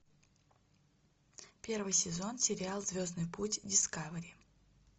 первый сезон сериал звездный путь дискавери